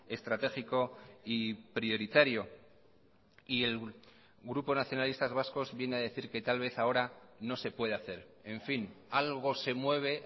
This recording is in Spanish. estratégico y prioritario y el grupo nacionalistas vascos viene a decir que tal vez ahora no se puede hacer en fin algo se mueve